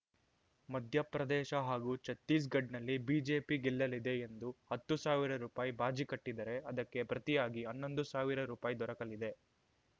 ಮಧ್ಯಪ್ರದೇಶ ಹಾಗೂ ಛತ್ತೀಸ್‌ಗಡ್ ನಲ್ಲಿ ಬಿಜೆಪಿ ಗೆಲ್ಲಲಿದೆ ಎಂದು ಹತ್ತು ಸಾವಿರ ರುಪಾಯಿ ಬಾಜಿ ಕಟ್ಟಿದರೆ ಅದಕ್ಕೆ ಪ್ರತಿಯಾಗಿ ಹನ್ನೊಂದು ಸಾವಿರ ರುಪಾಯಿ ದೊರಕಲಿದೆ